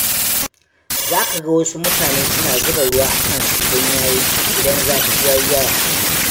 Za ka ga wasu mutanen suna zuba ruwa a kansu idan zafi ya yi yawa.